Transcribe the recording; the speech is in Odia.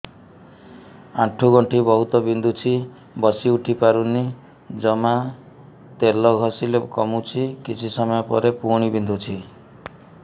ଆଣ୍ଠୁଗଣ୍ଠି ବହୁତ ବିନ୍ଧୁଛି ବସିଉଠି ପାରୁନି ଜମା ତେଲ ଘଷିଲେ କମୁଛି କିଛି ସମୟ ପରେ ପୁଣି ବିନ୍ଧୁଛି